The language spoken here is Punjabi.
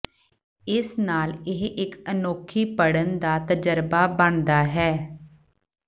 ਇਸ ਨਾਲ ਇਹ ਇਕ ਅਨੋਖੀ ਪੜ੍ਹਨ ਦਾ ਤਜਰਬਾ ਬਣਦਾ ਹੈ